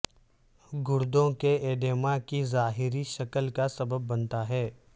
گردوں کے ایڈیما کی ظاہری شکل کا سبب بنتا ہے